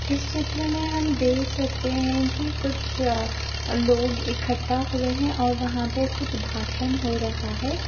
इस चित्र में हम देख सकते हैं कि कुछ अ लोग इकट्ठा हुए हैं और वहाँ पे कुछ भाषण हो रहा है।